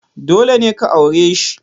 Dole ne ka aure shi!